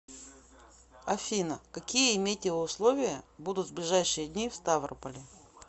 афина какие метеоусловия будут в ближайшие дни в ставрополе